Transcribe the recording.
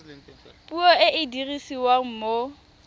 puo e e dirisiwang mo